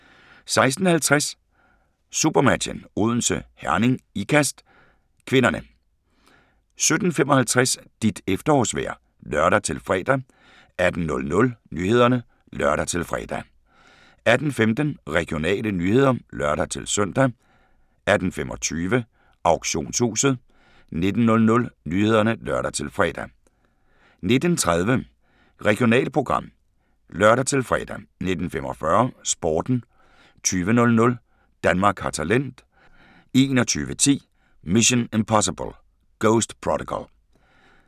16:50: SuperMatchen: Odense - Herning-Ikast (k) 17:55: Dit efterårsvejr (lør-fre) 18:00: Nyhederne (lør-fre) 18:15: Regionale nyheder (lør-søn) 18:25: Auktionshuset 19:00: Nyhederne (lør-fre) 19:30: Regionalprogram (lør-fre) 19:45: Sporten 20:00: Danmark har talent 21:10: Mission: Impossible - Ghost Protocol